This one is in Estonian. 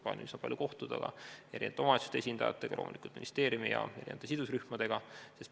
Plaanis on palju kohtuda omavalitsuste esindajatega, loomulikult ministeeriumi ja sidusrühmadega.